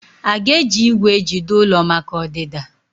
Aga eji igwè ejide ụlọ maka ọdịda?